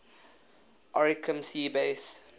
oricum sea base